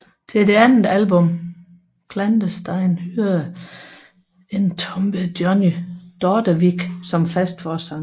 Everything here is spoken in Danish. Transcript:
Til det andet album Clandestine hyrede Entombed Johnny Dordevic som fast forsanger